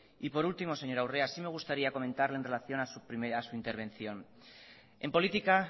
por último señora urrea sí me gustaría comentarle en relación a su primera intervención en política